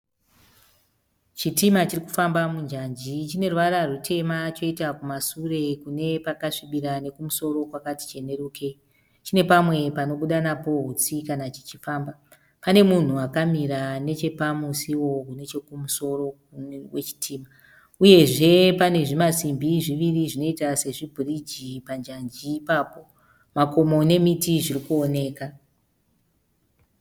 Chitima chirikufamba munjanji chine ruvara rutema choita kumasure Kune pakasvibira nekumusoro kwakati chenerukei. Chine pamwe panobuda napo utsi kana chichifamba. Pane munhu akamira nechepamusiwo nechekumusoro kwe chitima. Uyezve pane zvimasimbi zviviri zvinoita se zvi bhiriji panjanji ipapo. Makomo nemiti zvirikuoneka.